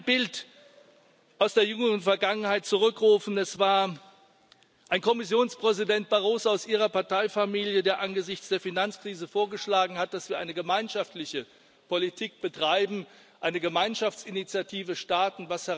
Lassen Sie mich ein Bild aus der jüngeren Vergangenheit zurückrufen Es war ein Kommissionspräsident Barroso aus Ihrer Parteifamilie, der angesichts der Finanzkrise vorgeschlagen hat, dass wir eine gemeinschaftliche Politik betreiben, eine Gemeinschaftsinitiative starten.